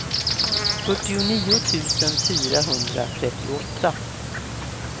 fyrtionio tusen fyrahundratrettioåtta